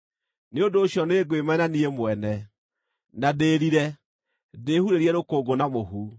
Nĩ ũndũ ũcio nĩngwĩmena niĩ mwene, na ndĩrire, ndĩhurĩrie rũkũngũ na mũhu.”